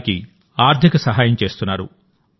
వారికి ఆర్థిక సహాయం చేస్తున్నారు